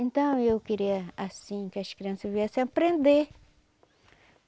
Então eu queria, assim, que as crianças viessem a aprender.